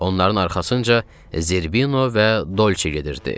Onların arxasınca Zirbino və Dolçe gedirdi.